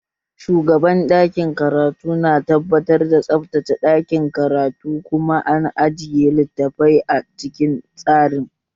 Shugaban ɗakin karatu na tabbatar da tsabtace ɗakin karatun kuma an ajiye littafai a cikin tsari